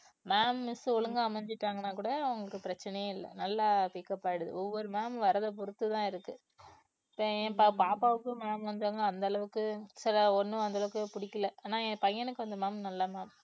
ma'am miss ஒழுங்கா அமைஞ்சிட்டாங்கன்னா கூட அவங்களுக்கு பிரச்சனையே இல்லை நல்லா pick up ஆயிடுது ஒவ்வொரு ma'am வர்றதை பொறுத்துதான் இருக்கு இப்ப அஹ் பாப்பாவுக்கு ma'am வந்தாங்க அந்த அளவுக்கு சில ஒண்ணும் அந்த அளவுக்கு பிடிக்கல ஆனா என் பையனுக்கு அந்த ma'am நல்ல ma'am